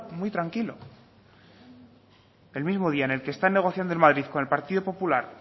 muy tranquilo el mismo día en el que están negociando en madrid con el partido popular